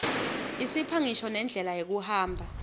isipha ngisho nendlela yekuhamba